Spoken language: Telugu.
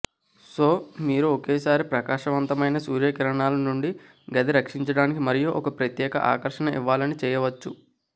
సో మీరు ఒకేసారి ప్రకాశవంతమైన సూర్య కిరణాల నుండి గది రక్షించడానికి మరియు ఒక ప్రత్యేక ఆకర్షణ ఇవ్వాలని చేయవచ్చు